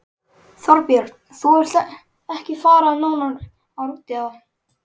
Þorbjörn: Þú vilt ekki fara nánar út í það?